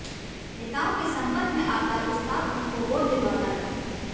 नेताओं के संपर्क में आकर उस्ताद उनको वोट दिलवाता है